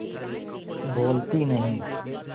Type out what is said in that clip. बोलती नहीं